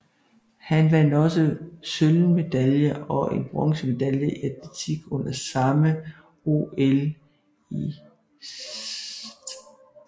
Han vandt også en sølvmedalje og en bronzemedalje i atletik under samme OL i St